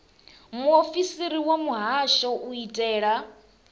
muofisiri wa muhasho u itela